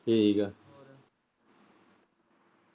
ਠੀਕ ਐਂ।